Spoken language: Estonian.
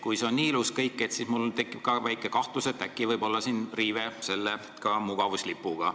Kui see kõik on nii ilus, siis mul tekib väike kahtlus, et äkki võib siin olla riive ka selle mugavuslipuga.